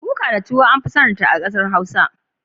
Kuka da tuwo an fi sanin ta a kasar hausa.